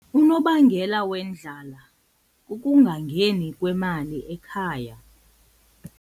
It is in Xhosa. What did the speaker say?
Unobangela wendlala kukungangeni kwemali ekhaya.